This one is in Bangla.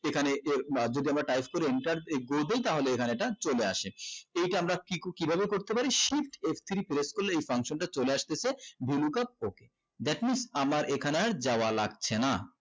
এখানে কেও মা যদি আমরা type করি inter executed তাহলে এখানে এটা চলে আসে এটা আমরা কি কিভাবে করতে পারি shift f three press করলে এই function টা চলে আসতেছে okay that means আমার এখানে আর যাওয়া লাগছে না